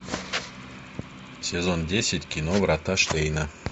сезон десять кино врата штейна